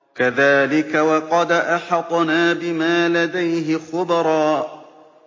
كَذَٰلِكَ وَقَدْ أَحَطْنَا بِمَا لَدَيْهِ خُبْرًا